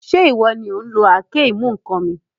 Ṣé ìwọ ni òun lo àáké-ìmú-ǹkan mi?